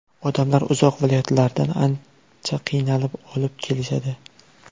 Odamlar uzoq viloyatlardan qancha qiynalib olib kelishadi.